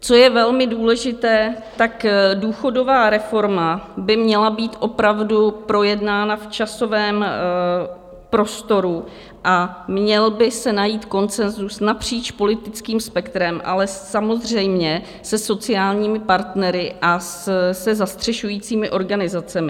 Co je velmi důležité, tak důchodová reforma by měla být opravdu projednána v časovém prostoru a měl by se najít konsenzus napříč politickým spektrem, ale samozřejmě se sociálními partnery a se zastřešujícími organizacemi.